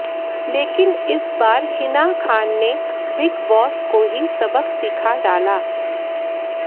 लेकिन इस बार हिना खान ने बिग बॅास को ही सबक सीखा डाला